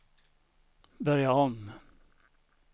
börja om